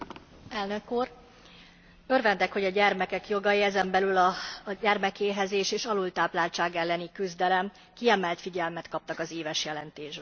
Elnök Úr, örvendek, hogy a gyermekek jogai, ezen belül a gyermekéhezés és az alultápláltság elleni küzdelem kiemelt figyelmet kaptak az éves jelentésben.